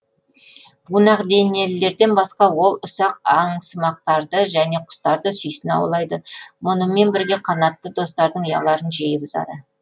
бунақденелілерден басқа ол ұсақ аңсымақтарды және құстарды сүйсіне аулайды мұнымен бірге қанатты достардың ұяларын жиі бұзады